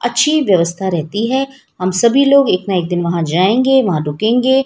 अच्छी व्यवस्था रहती है सभी लोग एक ना एक जाएंगे वहां रुकेंगे--